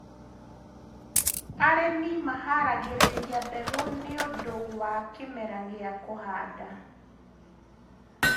arĩmi maharagiririra mbegũ nĩũndũ wa kĩmera gia kuhanda